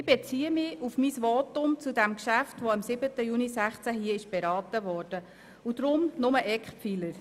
Ich beziehe mich auf mein Votum zu dem Geschäft, welches am 7. Juni 2016 hier beraten wurde und erwähne deshalb hier nur die Eckpfeiler.